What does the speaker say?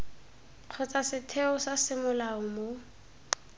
kgotsa setheo sa semolao mo